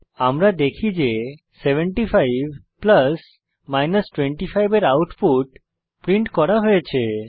আমরা দেখতে পারি যে 75 প্লাস 25 এর আউটপুট প্রিন্ট করা হয়েছে